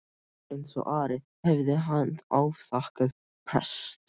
Eins og Ari hafði hann afþakkað prest.